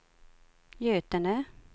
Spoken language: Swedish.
Götene